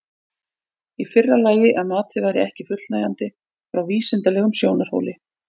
Í fyrra lagi að matið væri ekki fullnægjandi frá vísindalegum sjónarhóli.